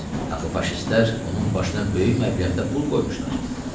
Axı faşistlər onun başına böyük məbləğdə pul qoymuşlar.